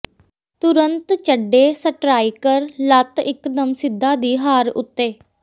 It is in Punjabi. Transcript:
ਤੁਰੰਤ ਚੱਡੇ ਸਟਰਾਈਕਰ ਲੱਤ ਇੱਕਦਮ ਸਿੱਧਾ ਦੀ ਹਾਰ ਉੱਤੇ